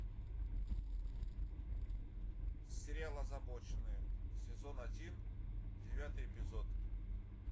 сериал озабоченные сезон один девятый эпизод